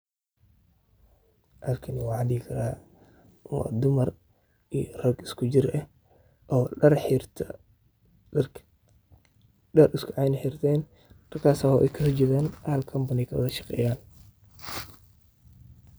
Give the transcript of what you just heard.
Halkani waxan sihi karaa wa dumar iyo rag iskujir ah, oo dar hirtay oo dar iskuceen eh hirteen, darkas oo hal company jogaan oo kawada shageyaan.